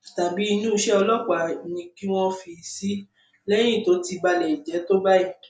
tàbí inú iṣẹ ọlọpàá ni kí wọn fi í sí lẹyìn tó ti ba ilé jẹ tó báyìí